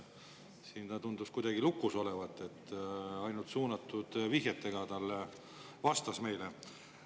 Siin ta tundus kuidagi lukus olevat, ainult suunatud vihjetega vastas meile.